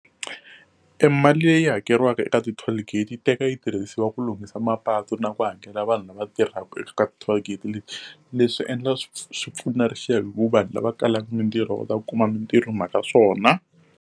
Emali leyi hakeriwaka eka ti-toll gate yi teka yi tirhisiwa ku lunghisiwa mapatu na ku hakela vanhu lava tirhaka eka ka ti-toll gate leti. Leswi endla swi pfuna hikuva vanhu lava kalaka mitirho va ta kuma mitirho hi mhaka swona.